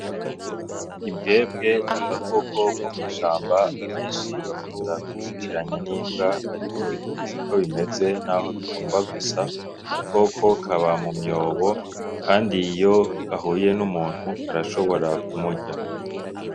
Imbwebwe n'agakoko ko mw'ishamba abeshi bakunda ku kitiranya n'imbwa ariko siko bimeze naho bigomba gusa koko kaba mu myobo kandi iyo gahuye n'umuntu gashobora ku murya.